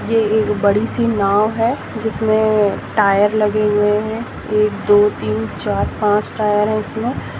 ये एक बड़ी सी नाव है जिसमें टायर लगे हुये है एक दो तिन चार पाँच टायर है।